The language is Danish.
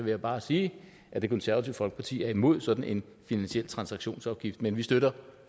jeg bare sige at det konservative folkeparti er imod sådan en finansiel transaktionsafgift men vi støtter